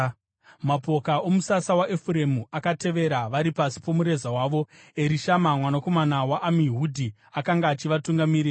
Mapoka omusasa waEfuremu akatevera; vari pasi pomureza wavo. Erishama mwanakomana waAmihudhi akanga achivatungamirira.